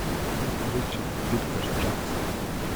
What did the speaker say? ричард питер джонсон